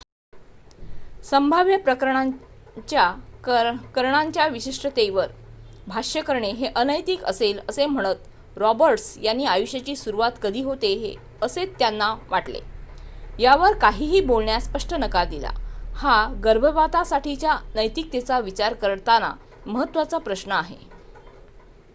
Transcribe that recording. संभाव्य प्रकरणांच्या करणांच्या विशिष्टतेवर भाष्य करणे हे अनैतिक असेल असे म्हणत रॉबर्ट्स यांनी आयुष्याची सुरुवात कधी होते असेत्यांना वाटते यावर काहीही बोलण्यास स्पष्ट नकार दिला हा गर्भपातासाठीच्या नैतिकतेचा विचार करताना महत्त्वाचा प्रश्न आहे